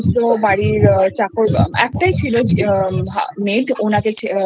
চাকর একটাই ছিল maid ওনাকে